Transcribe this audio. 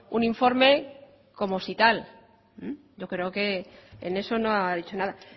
un informe como si tal yo creo que en eso no ha dicho nada